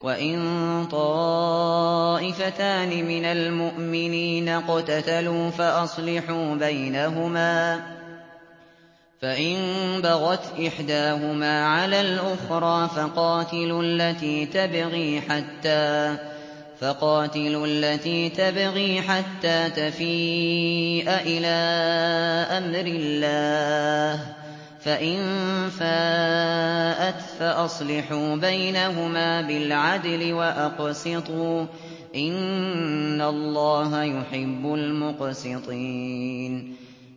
وَإِن طَائِفَتَانِ مِنَ الْمُؤْمِنِينَ اقْتَتَلُوا فَأَصْلِحُوا بَيْنَهُمَا ۖ فَإِن بَغَتْ إِحْدَاهُمَا عَلَى الْأُخْرَىٰ فَقَاتِلُوا الَّتِي تَبْغِي حَتَّىٰ تَفِيءَ إِلَىٰ أَمْرِ اللَّهِ ۚ فَإِن فَاءَتْ فَأَصْلِحُوا بَيْنَهُمَا بِالْعَدْلِ وَأَقْسِطُوا ۖ إِنَّ اللَّهَ يُحِبُّ الْمُقْسِطِينَ